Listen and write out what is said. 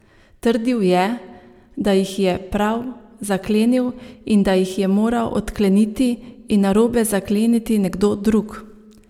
Trdil je, da jih je prav zaklenil in da jih je moral odkleniti in narobe zakleniti nekdo drug.